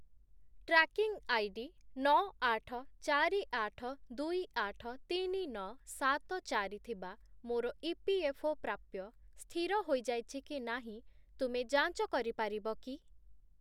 Tracking ID ନଅ, ଆଠ, ଚାରି, ଆଠ, ଦୁଇ, ଆଠ, ତିନି, ନଅ, ସାତ, ଚାରି ଥିବା ମୋର ଇପିଏଫ୍ଓ ​​ପ୍ରାପ୍ୟ ସ୍ଥିର ହୋଇଯାଇଛି କି ନାହିଁ ତୁମେ ଯାଞ୍ଚ କରିପାରିବ କି?